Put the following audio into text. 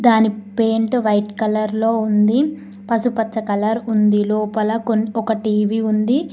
దాని paint white colour లో ఉంది పసుపచ్చ కలర్ ఉంది లోపల ఒక టీ_వీ ఉంది.